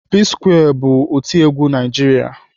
P-square bụ otiegwu Naijiria.